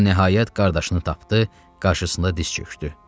O nəhayət qardaşını tapdı, qarşısında diz çöktü.